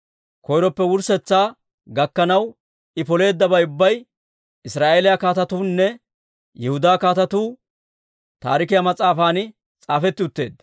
koyroppe wurssetsaa gakkanaw I poleeddabay ubbay Israa'eeliyaa Kaatetuunne Yihudaa Kaatetuu Taarikiyaa mas'aafan s'aafetti utteedda.